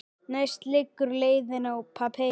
Næst liggur leiðin í Papey.